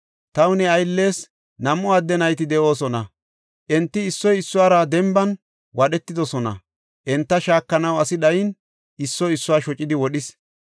Taw ne ayllees nam7u adde nayti de7oosona. Enti issoy issuwara denban wadhetidosona; enta shaakanaw asi dhayin, issoy issuwa shocidi wodhis.